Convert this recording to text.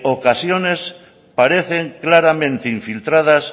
ocasiones parecen claramente infiltradas